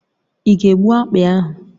Ị ga-egbu akpị ahụ?